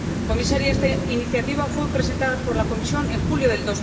Señora Comisaria, esta iniciativa fue presentada por la Comisión en julio de